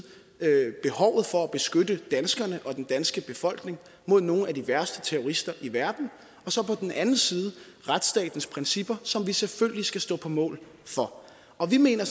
behovet for at beskytte danskerne og den danske befolkning mod nogle af de værste terrorister i verden og så på den anden side retsstatens principper som vi selvfølgelig skal stå på mål for og vi mener